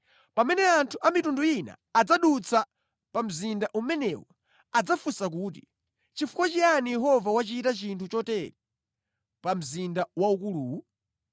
“Pamene anthu a mitundu ina adzadutsa pa mzinda umenewu adzafunsana kuti, ‘Chifukwa chiyani Yehova wachita chinthu chotere pa mzinda waukuluwu?’